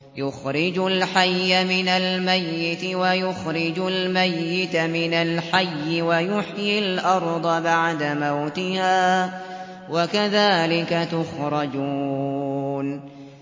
يُخْرِجُ الْحَيَّ مِنَ الْمَيِّتِ وَيُخْرِجُ الْمَيِّتَ مِنَ الْحَيِّ وَيُحْيِي الْأَرْضَ بَعْدَ مَوْتِهَا ۚ وَكَذَٰلِكَ تُخْرَجُونَ